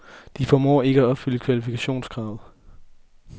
De formår ikke at opfylde kvalifikationskravet.